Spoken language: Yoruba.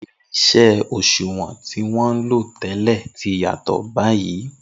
Irin-iṣẹ́ òṣùwọ̀n tí wọ́n ń lò tẹ́lẹ̀ ti yàtọ̀ báyìí.